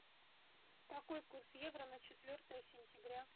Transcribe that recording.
какой курс евро на четвертое сентября